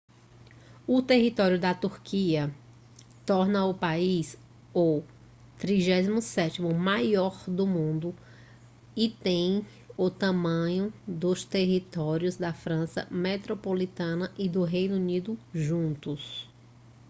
o território da turquia torna o país o 37º maior do mundo e tem o tamanho dos territórios da frança metropolitana e do reino unido juntos